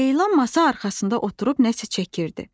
Leyla masa arxasında oturub nəsə çəkirdi.